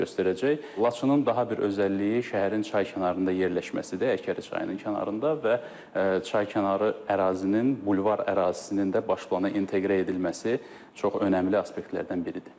Laçının daha bir özəlliyi şəhərin çay kənarında yerləşməsidir, Həkəri çayının kənarında və çay kənarı ərazinin bulvar ərazisinin də baş plana inteqrə edilməsi çox önəmli aspektlərdən biridir.